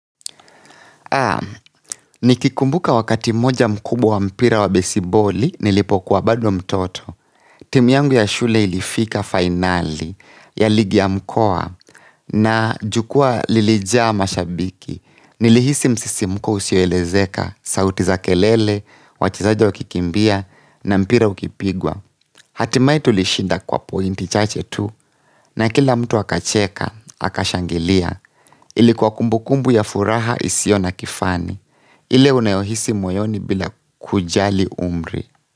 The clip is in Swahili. Haa, nikikumbuka wakati mmoja mkubwa wa mpira wa besiboli nilipokuwa bado mtoto. Timu yangu ya shule ilifika fainali ya ligi ya mkoa na jukwaa lilijaa mashabiki. Nilihisi msisimko usioelezeka sauti za kelele, wachezaji wakikimbia na mpira ukipigwa. Hatimae tulishinda kwa pointi chache tu na kila mtu akacheka, akashangilia, ilikuwa kumbukumbu ya furaha isio na kifani, ile unayohisi moyoni bila kujali umri.